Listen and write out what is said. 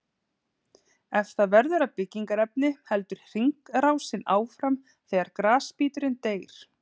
Ef það verður að byggingarefni heldur hringrásin áfram þegar grasbíturinn deyr.